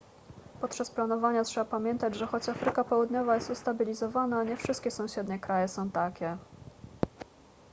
podczas planowania trzeba pamiętać że choć afryka południowa jest ustabilizowana nie wszystkie sąsiednie kraje są takie